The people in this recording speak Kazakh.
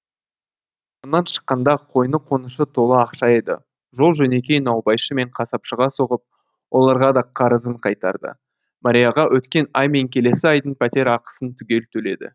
онан шыққанда қойны қонышы толы ақша еді жол жөнекей наубайшы мен қасапшыға соғып оларға да қарызын қайтарды марияға өткен ай мен келесі айдың пәтер ақысын түгел төледі